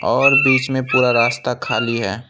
और बीच में पूरा रास्ता खाली है।